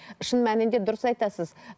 шын мәнінде дұрыс айтасыз